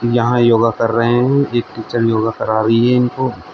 यहां योगा कर रहे हैं एक टीचर योगा करा रही है इनको।